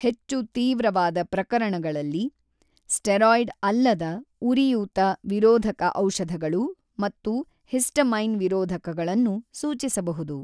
ಹೆಚ್ಚು ತೀವ್ರವಾದ ಪ್ರಕರಣಗಳಲ್ಲಿ, ಸ್ಟೆರೊಯ್ಡ ಅಲ್ಲದ ಉರಿಯೂತ ವಿರೋಧಕ ಔಷಧಗಳು ಮತ್ತು ಹಿಸ್ಟಮೈನ್ ವಿರೋಧಕಗಳನ್ನು ಸೂಚಿಸಬಹುದು.